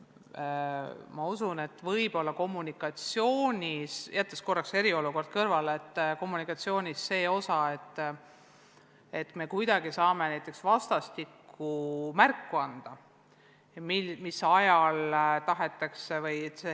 Ma usun, et kommunikatsiooni osas – jättes korraks eriolukorra kõrvale – saaksime näiteks vastastikku märku anda, mis ajal tahetakse vastuseid kuulda või mis ajal see on võimalik.